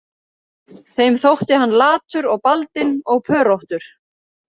Þeim þótti hann latur og baldinn og pöróttur